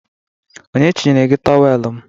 Onye chinyere gị tọwel m?